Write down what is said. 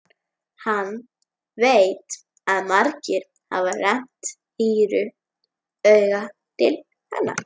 Hann veit að margir hafa rennt hýru auga til hennar.